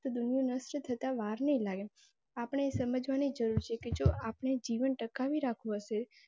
તો દુનિયા નષ્ટ થતા વાર નહી લાગે. અપડે એ સમાજ વાણી જરુર છે કે જો અપડે જીવન ટકાવી રખવું હશે